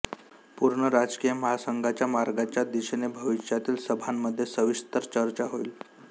पूर्ण राजकीय महासंघाच्या मार्गाच्या दिशेने भविष्यातील सभांमध्ये सविस्तर चर्चा होईल